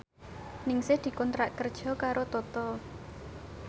Ningsih dikontrak kerja karo Toto